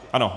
Ano.